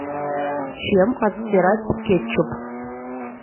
чем отстирать кетчуп